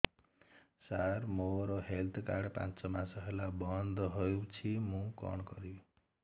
ସାର ମୋର health card ପାଞ୍ଚ ମାସ ହେଲା ବଂଦ ହୋଇଛି ମୁଁ କଣ କରିବି